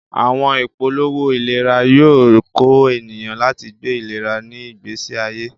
Awọn ipolowo ilera yoo kọ eniyan lati gbe ilera ni igbesi aye.